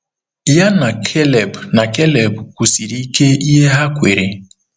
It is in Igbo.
Ya na Keleb na Keleb kwusiri ike ihe ha kweere.